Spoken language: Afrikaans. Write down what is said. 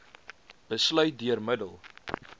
besluit deur middel